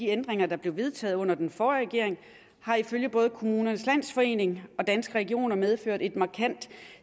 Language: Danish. ændringerne der blev vedtaget under den forrige regering har ifølge både kommunernes landsforening og danske regioner medført et markant